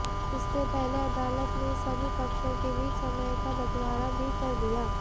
इससे पहले अदालत ने सभी पक्षों के बीच समय का बंटवारा भी कर दिया